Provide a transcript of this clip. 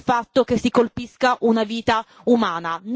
al fatto che si colpisca una vita umana.